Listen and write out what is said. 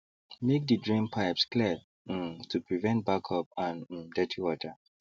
make the drain pipes clear um to prevent backup and um dirty water